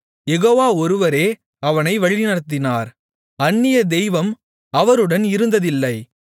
யெகோவா ஒருவரே அவனை வழிநடத்தினார் அந்நிய தெய்வம் அவருடன் இருந்ததில்லை